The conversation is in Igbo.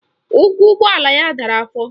Ụkwụ ụgbọala ya dara afọ